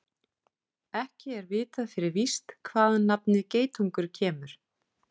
Ekki er vitað fyrir víst hvaðan nafnið geitungur kemur.